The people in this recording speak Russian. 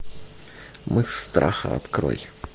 мыс страха открой